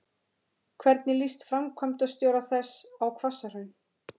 Hvernig líst framkvæmdastjóra þess á Hvassahraun?